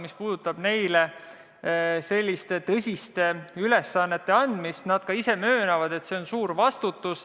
Mis puudutab neile selliste tõsiste ülesannete andmist, siis nad ka ise möönavad, et see on suur vastutus.